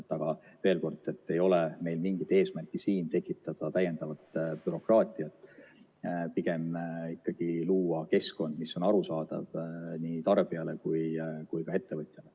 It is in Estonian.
Aga veel kord: ei ole meil mingit eesmärki tekitada täiendavat bürokraatiat, pigem ikkagi luua keskkond, mis on arusaadav nii tarbijale kui ka ettevõtjale.